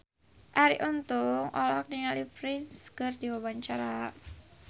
Arie Untung olohok ningali Prince keur diwawancara